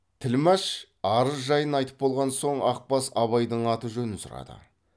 тілмәш арыз жайын айтып болған соң ақбас абайдың аты жөнін сұрады